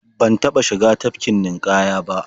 Ban taɓa shiga tafkin ninƙaya ba.